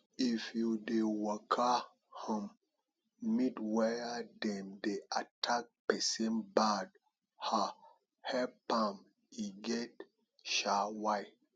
if you dey waka um meet where dem dey attack pesin bad um help am e get um why